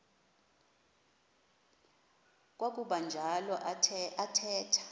kwakuba njalo athetha